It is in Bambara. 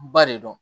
Ba de don